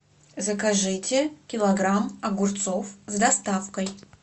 закажите килограмм огурцов с доставкой